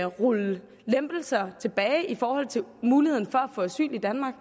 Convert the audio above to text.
rulle lempelser tilbage i forhold til muligheden for at få asyl i danmark